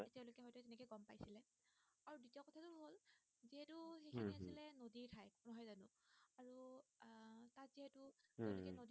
উম তেওলোকে নদিত